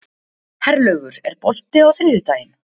Herlaugur, er bolti á þriðjudaginn?